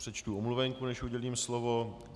Přečtu omluvenku, než udělím slovo.